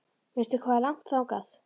Veistu hvað er langt þangað?